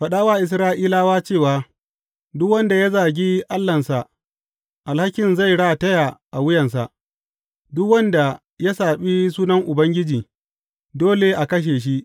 Faɗa wa Isra’ilawa cewa, Duk wanda ya zagi Allahnsa, alhakin zai rataya a wuyansa, duk wanda ya saɓi sunan Ubangiji, dole a kashe shi.